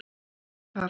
Gunnar Karel.